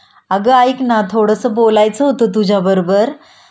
अगं ऐक ना थोडंस बोलायचं होतं तुझ्याबरोबर